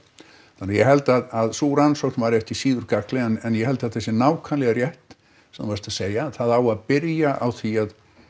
þannig að ég held að sú rannsókn væri ekki síður gagnleg en ég held að það sé nákvæmlega rétt sem þú varst að segja það á að byrja á því